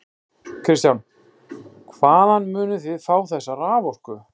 Kristján: Hvaðan munið þið fá þessa raforku?